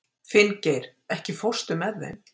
Finngeir, ekki fórstu með þeim?